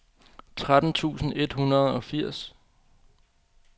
tretten tusind et hundrede og firs